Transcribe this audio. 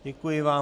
Děkuji vám.